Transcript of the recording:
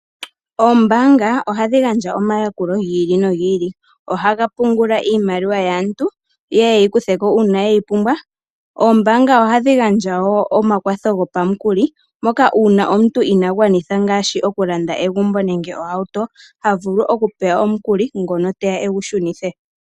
Oombanga ohadhi gandja omayakulo gi ili nogi ili ohadhi pungula iimaliwa yaantu yeye yeyikutheko uuna ye yi pumbwa. Oombanga ohadhi gandja woo omakwatho gopamukuli moka uuna omuntu ina gwanitha ngaashi oku landa egumbo nenge ohauto ha vulu oku pewa omukuli ngoka teya egu shunithe.